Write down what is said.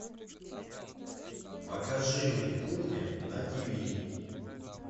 покажи мне кухня на тиви